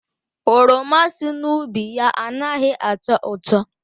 Oroma si n'ubi ya anaghị atọ ụtọ.